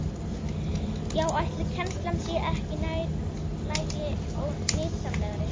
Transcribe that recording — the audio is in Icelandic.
Já, ætli kennslan sé ekki nær lagi og nytsamlegri?